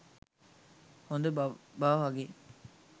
හොඳ බබා වගේ